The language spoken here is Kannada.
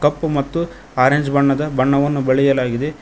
ಕಪ್ಪು ಮತ್ತು ಆರೆಂಜ್ ಬಣ್ಣದ ಬಣ್ಣವನ್ನು ಬಳಿಯಲಾಗಿದೆ.